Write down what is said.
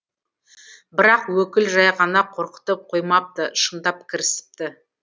бірақ өкіл жай ғана қорқытып қоймапты шындап кірісіпті